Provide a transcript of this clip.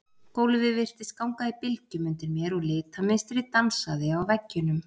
Gólfið virtist ganga í bylgjum undir mér og litamynstrið dansaði á veggjunum.